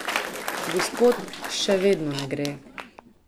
Gospod, še vedno ne gre ...